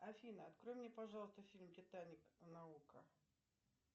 афина открой мне пожалуйста фильм титаник на окко